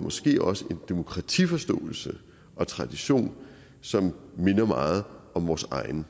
måske også en demokratiforståelse og tradition som minder meget om vores egen